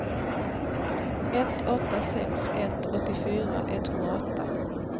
ett åtta sex ett åttiofyra etthundraåtta